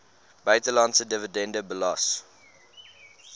buitelandse dividende belas